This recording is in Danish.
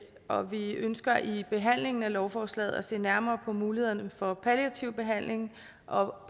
og vi ønsker i behandlingen af lovforslaget at se nærmere på mulighederne for palliativ behandling og